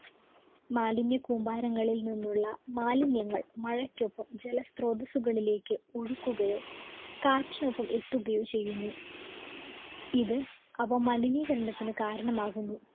മാലിന്യകൂമ്പാരങ്ങളിൽ നിന്നുള്ള മാലിന്യങ്ങൾ മഴയ്‌ക്കൊപ്പം ജല സ്ത്രോതസുകളിലേക്ക് ഒഴുക്കുകയോ കാറ്റിനൊപ്പം എത്തുകയോ ചെയ്യുന്നു ഇത് അവ മലിനീകരണത്തിനി കാരണമാകുന്നു